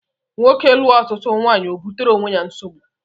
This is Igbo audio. Nwoke lụọ ọtụtụ nwaanyị o butere onwe ya nsogbu